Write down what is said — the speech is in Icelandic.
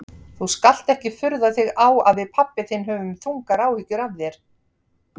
Þú skalt ekki furða þig á að við pabbi þinn höfum þungar áhyggjur af þér.